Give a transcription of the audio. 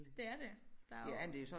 Det er det der er jo